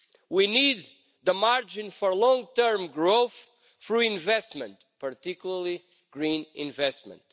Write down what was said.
We need the margin for long-term growth through investment, particularly green investment.